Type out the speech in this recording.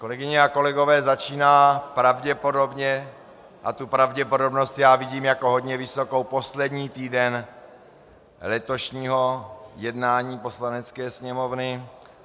Kolegyně a kolegové, začíná pravděpodobně, a tu pravděpodobnost já vidím jako hodně vysokou, poslední týden letošního jednání Poslanecké sněmovny.